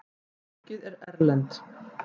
Fólkið er erlent.